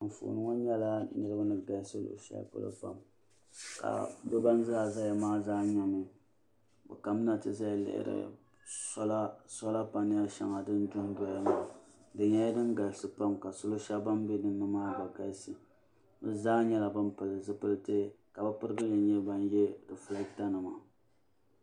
Anfooni ŋɔ nyɛla niriba ni galisi luɣushɛli polo pam ka bɛ ban zaa zaya maa zaa nyɛmi bɛ kamina ti lihiri sola panali shɛŋa din dondoya maa di nyɛla din galisi pam ka solo shɛba ban be dinni maa gba galisi bi zaa nyɛla ban pili zipilti ka pirigili nyɛ ban ye rifilata nima.